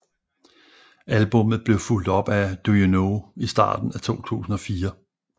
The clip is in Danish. Albummet blev fulgt op af Do You Know i starten af 2004